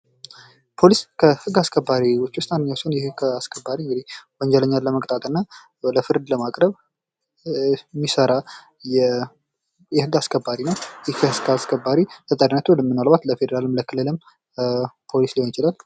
ፖሊስ ከህግ አስከባሪዎች ውስጥ አንደኛው ሲሆን ይህ ህግ አስከባሪ እንግዲህ ወንጀለኛን ለመቅጣትና ለፍርድ ለማቅረብ የሚሰራ የህግ አስከባሪ ነው ይህ ህግ አስከባሪ ተጠሪነቱ ምናልባት ለፌዴራልም ለክልልም ፖሊስ ሊሆን ይችላል።